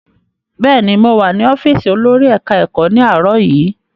Bẹ́ẹ̀ni, mow à ní ọ́fíìsì olórí ilé-ẹ̀kọ́ ní àárọ̀ yìí.